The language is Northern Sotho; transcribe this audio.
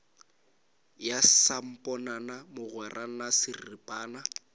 ya samponana mogwera na serapana